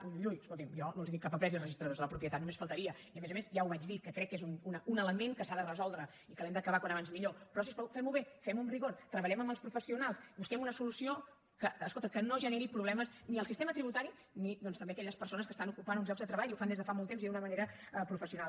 ui ui ui escolti’m jo no els tinc cap apreci als registradors de la propietat només faltaria i a més a més ja ho vaig dir que crec que és un element que s’ha de resoldre i que l’hem d’acabar com abans millor però si us plau fem ho bé fem ho amb rigor treballem amb els professionals busquem una solució que escolta que no generi problemes ni al sistema tributari ni doncs tampoc a aquelles persones que estan ocupant uns llocs de treball i ho fan des de fa molt temps i d’una manera professional